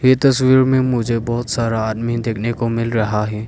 ये तस्वीर में मुझे बहुत सारा आदमी देखने को मिल रहा है।